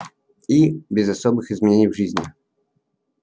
и без особых изменений в жизни